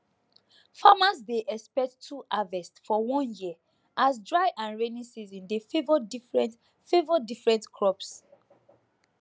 farmers dey expect two harvest for one year as dry and rainy season dey favour different favour different crops